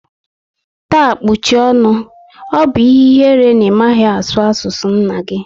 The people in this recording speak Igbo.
Taa kpuchie ọṅụ! Ọ bụ ihe ihere na ị maghị asụ asụ nna gi